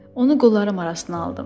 Onu qollarım arasına aldım.